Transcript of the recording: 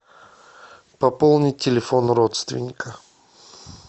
пополнить телефон родственника